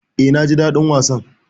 E, naji daɗin wasan.